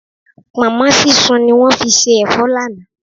Pọ̀nmọ́ sísun ni wọ́n fi se ẹ̀fọ́ lánàá.